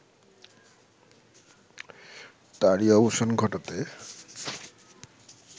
তারই অবসান ঘটাতে